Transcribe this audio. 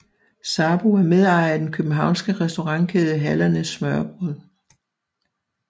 Sarbo er medejer af den københavnske restaurantkæde Hallernes Smørrebrød